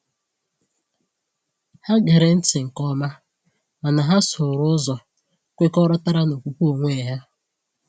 Ha gere ntị nke ọma, mana ha sooro ụzọ kwekọrọtara na okwukwe onwe ha.